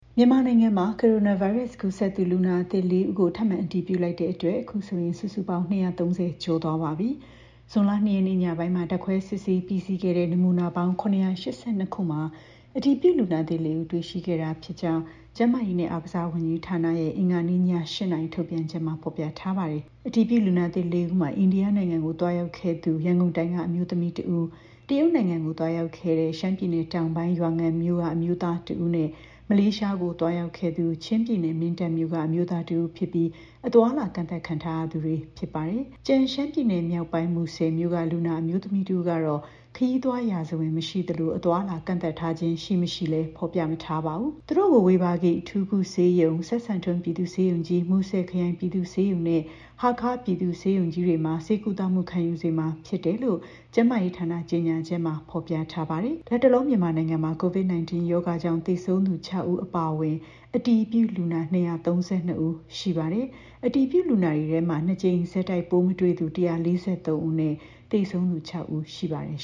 မြန်မာနိုင်ငံမှာ ကိုရိုနာဗိုင်းရပ်စ်ကူးစက်သူ လူနာသစ် ၄ ဦးကို ထပ်မံအတည်ပြုလိုက်တဲ့အတွက် အခုဆိုရင် စုစုပေါင်း ၂၃၀ ကျော်သွားပါပြီ။ ဇွန်လ ၂ ရက်နေ့ ညပိုင်းမှာ ဓာတ်ခွဲ စစ်ဆေးပြီးစီးခဲ့တဲ့ နမူနာပေါင်း ၇၈၂ ခုမှာ အတည်ပြုလူနာသစ် ၄ ဦး တွေ့ရှိခဲ့တာဖြစ်ကြောင်း ကျန်းမာရေးနဲ့ အားကစားဝန်ကြီးဌာနရဲ့ အင်္ဂါနေ့ည ၈ နာရီ ထုတ်ပြန်ချက်မှာ ဖော်ပြထားပါတယ်။ အတည်ပြုလူနာသစ် ၄ ဦးမှာ အိန္ဒိယနိုင်ငံကို သွားရောက်ခဲ့သူ ရန်ကုန်တိုင်းက အမျိုးသမီး ၁ ဦး၊ တရုတ်နိုင်ငံကို သွားရောက်ခဲ့သူ ရှမ်းပြည်နယ်တောင်ပိုင်း ရွာငံမြို့က အမျိုးသား ၁ ဦးနဲ့ မလေးရှားကို သွားရောက်ခဲ့သူ ချင်းပြည်နယ် မင်းတပ်မြို့က အမျိုးသား ၁ ဦးဖြစ်ပြီး အသွားအလာ ကန့်သတ်ခံထားရသူတွေဖြစ်ပါတယ်။ ကျန်ရှမ်းပြည်နယ် မြောက်ပိုင်းမူဆယ်မြို့က လူနာအမျိုးသမီး ၁ ဦးကတော့ ခရီးသွားရာဇဝင် မရှိသလို အသွားအလာ ကန့်သတ်ထားခြင်း ရှိ၊ မရှိ ဖော်ပြမထားပါဘူး။ သူတို့ကို ဝေဘာဂီ အထူးကုဆေးရုံ၊ စပ်စံထွန်း ပြည်သူ့ဆေးရုံကြီး၊ မူဆယ်ခရိုင်ပြည်သူ့ ဆေးရုံနဲ့ ဟားခါးပြည်သူ့ဆေးရုံကြီးတွေမှာ ဆေးကုသမှုခံယူစေမှာ ဖြစ်တယ်လို့လည်း ကျန်းမာရေးဌာန ကြေညာချက်မှာ ဖော်ပြထားပါတယ်။ လတ်တလော မြန်မာနိုင်ငံမှာ COVID-19 ရောဂါကြောင့် သေဆုံးသူ ၆ ဦး အပါအဝင် အတည်ပြုလူနာ ၂၃၂ ဦး ရှိပါတယ်။ အတည်ပြုလူနာတွေထဲ ၂ ကြိမ်ဆက်တိုက်ပိုးမတွေ့သူ ၁၄၃ ဦးနဲ့ သေဆုံးသူ ၆ ဦး ရှိပါတယ်